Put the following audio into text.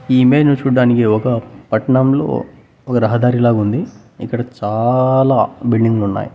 ఈ ఇమేజ్ ను చూడటానికి ఒక పట్నంలో ఒక రహదారిలా ఉంది ఇక్కడ చాలా బిల్డింగ్లు ఉన్నాయి.